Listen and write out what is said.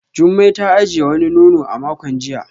Jumai ta ajiye wani nono a makon jiya